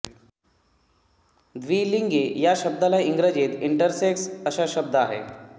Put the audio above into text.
द्विलिंगी या शब्दाला इंग्रजीत इंटरसेक्स असा शब्द आहे